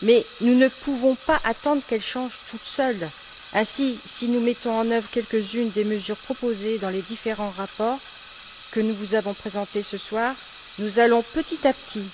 mais nous ne pouvons pas attendre qu'elles changent toutes seules. Ainsi, si nous mettons en œuvre quelques unes des mesures proposées dans les différents rapports que nous vous avons présentés ce soir, nous allons petit à petit